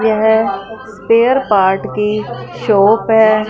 येह spare part की shop है।